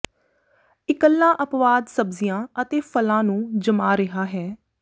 ਇੱਕਲਾ ਅਪਵਾਦ ਸਬਜ਼ੀਆਂ ਅਤੇ ਫਲਾਂ ਨੂੰ ਜਮਾ ਰਿਹਾ ਹੈ